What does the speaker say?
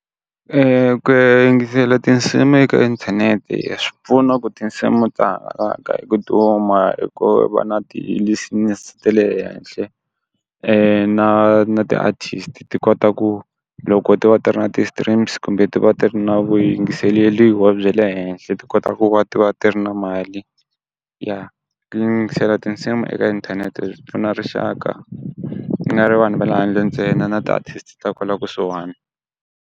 ku ya yingisela tinsimu eka inthanete swi pfuna ku tinsimu ta hangalaka hi ku duma hi ku va na ti-listeners ta le henhle, na na ti artist ti kota ku loko ti va ti ri na ti-streams kumbe ti va ti ri na vuyingiseleliwa bya le henhle ti kotaka ku va ti va ti ri na mali, ya tinsimu eka inthanete pfuna rixaka ti nga ri vanhu va le handle ntsena na ti-artist ta kwala kusuhani.